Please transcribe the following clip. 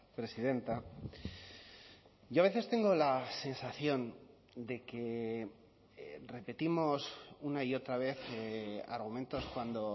presidenta yo a veces tengo la sensación de que repetimos una y otra vez argumentos cuando